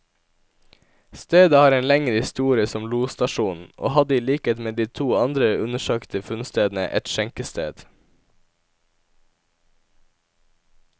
Stedet har en lengre historie som losstasjon, og hadde i likhet med de to andre undersøkte funnstedene, et skjenkested.